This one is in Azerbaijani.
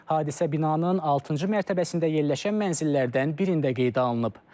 Hadisə binanın altıncı mərtəbəsində yerləşən mənzillərdən birində qeydə alınıb.